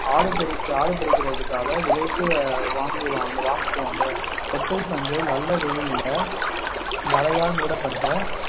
ஆடு பெருகி ஆடு பறிப்பதற்காக விலைக்கு வாங்கிக்~ வாங்கிக்குவாங்க கொட்டை பஞ்சை நல்ல வெயில்ல வலையால் மூடப்பட்ட